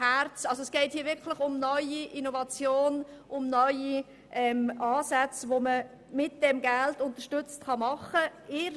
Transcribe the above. Es geht somit um neue Ansätze, die man dank dieses Geldes in der Praxis umsetzen kann.